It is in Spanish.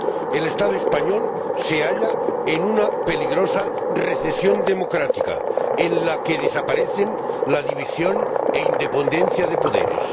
El Estado español se halla en una peligrosa recesión democrática en la que desaparecen la división e independencia de poderes.